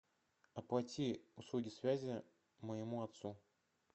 оплати услуги связи моему отцу